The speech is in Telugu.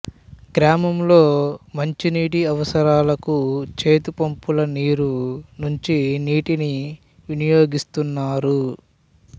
గ్రామంలో మంచినీటి అవసరాలకు చేతిపంపుల నీరు నుంచి నీటిని వినియోగిస్తున్నారు